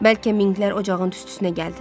Bəlkə minqlər ocağın tüstüsünə gəldilər.